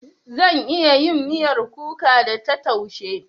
Zan iya yin miyar kuka da ta taushe.